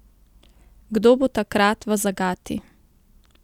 Kdo bo takrat v zagati?